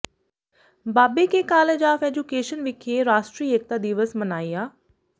ਬਾਬੇ Ke college of education ਵਿਖੇ ਰਾਸ਼ਟਰੀ ਏਕਤਾ ਦਿਵਸ ਮਨਾਇਆ